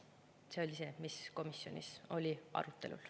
See oli see, mis oli komisjonis arutelul.